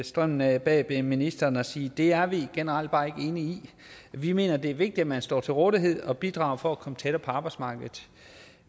strømmen bag ministeren og sige at det er vi generelt bare ikke enige i vi mener det er vigtigt at man står til rådighed og bidrager for at komme tættere på arbejdsmarkedet